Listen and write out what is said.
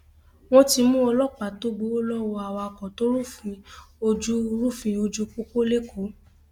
wọn ti mú ọlọpàá tó gbowó lọwọ awakọ tó rúfin ojú rúfin ojú pópó lẹkọọ